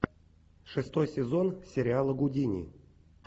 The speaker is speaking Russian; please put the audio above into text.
шестой сезон сериала гудини